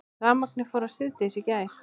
Rafmagnið fór af síðdegis í gær